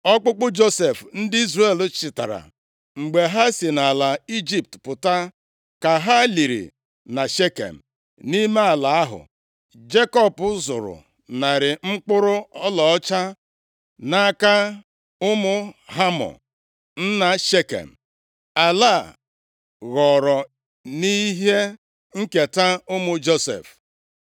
Ọkpụkpụ Josef ndị Izrel chịtara mgbe ha si nʼala Ijipt pụta, ka ha liri na Shekem, nʼime ala ahụ Jekọb zụrụ narị mkpụrụ ọlaọcha nʼaka ụmụ Hamọ nna Shekem. Ala a ghọrọ nʼihe nketa ụmụ Josef.